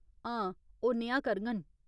हां, ओह् नेहा करङन।